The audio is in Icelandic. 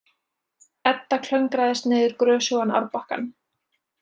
Edda klöngraðist niður grösugan árbakkann.